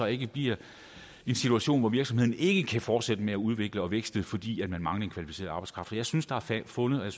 ikke bliver en situation hvor virksomhederne ikke kan fortsætte med at udvikle og vækste fordi man mangler kvalificeret arbejdskraft for jeg synes der er fundet